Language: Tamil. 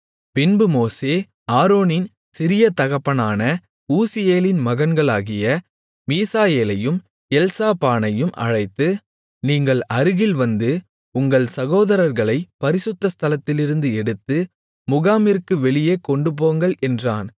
பின்பு மோசே ஆரோனின் சிறிய தகப்பனான ஊசியேலின் மகன்களாகிய மீசாயேலையும் எல்சாபானையும் அழைத்து நீங்கள் அருகில் வந்து உங்கள் சகோதரர்களைப் பரிசுத்த ஸ்தலத்திலிருந்து எடுத்து முகாமிற்கு வெளியே கொண்டுபோங்கள் என்றான்